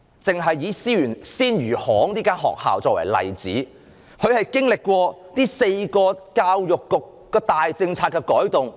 政府只是以鮮魚行學校作為例子，這間學校經歷了教育局4項大政策改動。